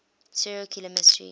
serial killer mystery